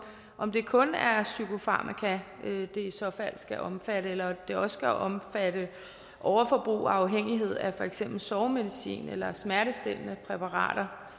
om det kun er psykofarmaka det i så fald skal omfatte eller det også skal omfatte overforbrug og afhængighed af for eksempel sovemedicin og smertestillende præparater